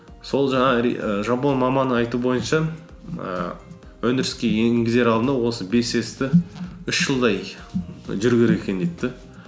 сол жаңағы жапон маманы айтуы бойынша ііі өндіріске енгізер алдында осы бес с ті үш жылдай і жүру керек екен дейді де